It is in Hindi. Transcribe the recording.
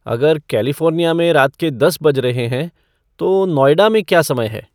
अगर कैलिफ़ोर्निया में रात के दस बज रहे हैं तो नोएडा में क्या समय है